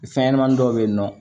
Fɛn ɲɛnɛmanin dɔ be yen nɔ